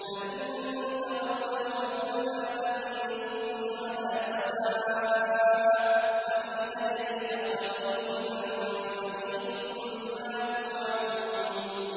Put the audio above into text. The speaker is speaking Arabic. فَإِن تَوَلَّوْا فَقُلْ آذَنتُكُمْ عَلَىٰ سَوَاءٍ ۖ وَإِنْ أَدْرِي أَقَرِيبٌ أَم بَعِيدٌ مَّا تُوعَدُونَ